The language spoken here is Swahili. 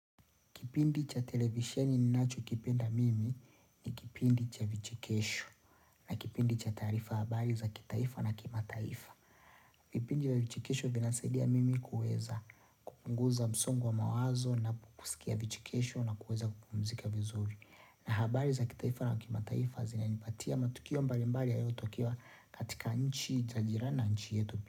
Kipindi cha televisheni ninacho kipenda mimi ni kipindi cha vichekesho na kipindi cha taarifa habari za kitaifa na kima taifa. Vipindi vya vichekesho vinanisaidia mimi kuweza kupunguza msongo wa mawazo na kusikia vichekesho na kuweza kupumzika vizuri. Na habari za kitaifa na kima taifa zina nipatia matukio mbalimbali yaliyo tokea katika nchi zajirani nanchi yetu.